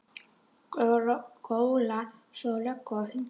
Góla svo á löggu og hunda.